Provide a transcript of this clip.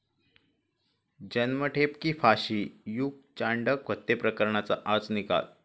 जन्मठेप की फाशी? युग चांडक हत्येप्रकरणाचा आज निकाल